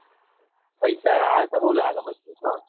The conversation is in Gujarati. પૈસા આયા સ બૌ લાગે મજબૂત હો